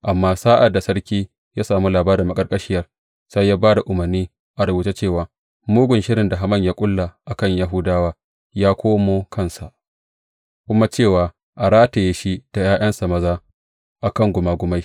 Amma sa’ad da sarki ya sami labarin maƙarƙashiyar, sai ya ba da umarnai a rubuce cewa mugun shirin da Haman ya ƙulla a kan Yahudawa yă komo kansa, kuma cewa a rataye shi da ’ya’yansa maza a kan gumagumai.